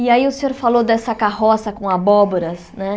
E aí o senhor falou dessa carroça com abóboras, né?